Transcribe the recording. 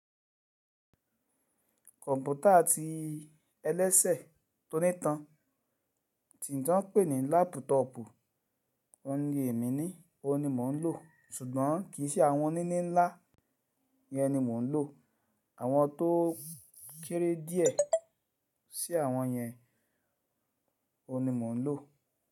Kọ̀ǹpútà ti ẹlẹ́sẹ̀ tó nítan tí ń tàn ń pè ní lápútọọ̀pù. Óun ní èmi ni, òun ni mò ń lò. Ṣùgbọ́n kì í ṣe àwọn níní ńlá yẹn ni mò ń lò, àwọn tó kéré díẹ̀ sí àwọn yẹn òun ni mò ń lò.